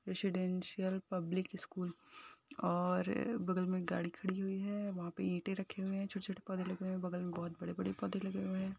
residential public school और बगल मे गाड़ी खड़ी हुई है | वहाँ पे ईटें रखे हुए हैं छोटे छोटे पौधे लगे हुए हैं बगल मे बहुत बड़े बड़े पौधे लगे हुए हैं |